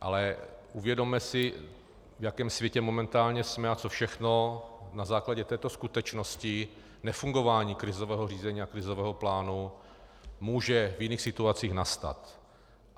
Ale uvědomme si, v jakém světě momentálně jsme a co všechno na základě této skutečnosti nefungování krizového řízení a krizového plánu může v jiných situacích nastat.